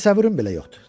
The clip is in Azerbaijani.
Təsəvvürüm belə yoxdur.